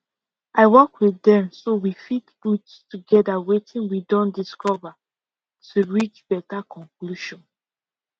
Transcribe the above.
i work with dem so we fit put togetherwetin we don dicover to reach better conclusion